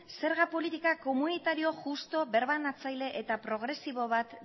zerga politika komunitario justu birbanatzaile eta progresibo bat